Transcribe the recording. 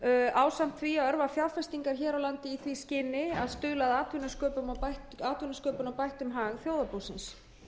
ásamt því að örva fjárfestingar hér á landi í því skyni að stuðla að atvinnusköpun og bættum hag þjóðarbúsins